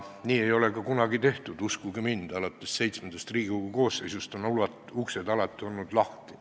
Nii ei ole ka kunagi tehtud, uskuge mind, alates VII Riigikogu koosseisust on uksed alati lahti olnud.